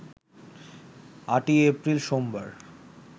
৮ই April সোমবার